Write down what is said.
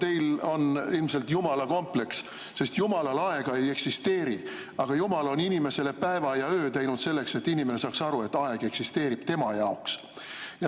Teil on ilmselt Jumala kompleks, sest Jumalal aega ei eksisteeri, aga Jumal on inimesele päeva ja öö teinud selleks, et inimene saaks aru, et aeg eksisteerib tema jaoks.